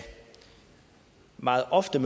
meget ofte